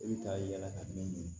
I bɛ taa yala ka min don